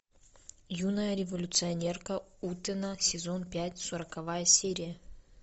юная революционерка утэна сезон пять сороковая серия